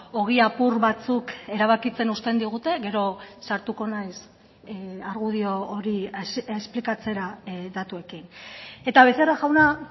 ogi apur batzuk erabakitzen uzten digute gero sartuko naiz argudio hori esplikatzera datuekin eta becerra jauna